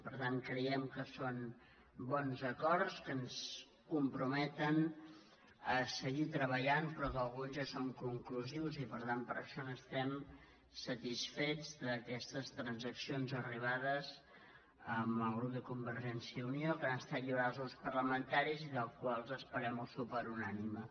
per tant creiem que són bons acords que ens comprometen a seguir treballant però que alguns ja són conclusius i per tant per això estem satisfets d’aquestes transaccions arribades amb el grup de convergència i unió que han estat lliurades als grups parlamentaris i dels quals esperem el suport unànime